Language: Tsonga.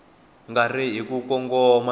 nga ri hi ku kongoma